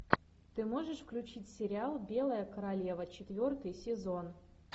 ты можешь включить сериал белая королева четвертый сезон